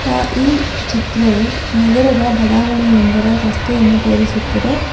ಆ ಈ ಚಿತ್ರವು ನಗರದ ಬಡಾವಣೆ ಒಂದರ ರಸ್ತೆಯನ್ನು ತೋರಿಸುತ್ತದೆ.